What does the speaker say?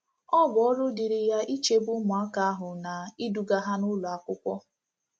Ọ bụ ọrụ dịịrị ya ichebe ụmụaka ahụ na iduga ha n’ụlọ akwụkwọ.